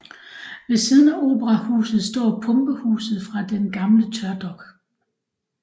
Ved siden af Operahuset står pumpehuset fra den gamle tørdok